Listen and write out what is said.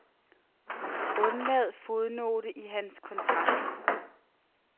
Undlad fodnote i hans kontrakt.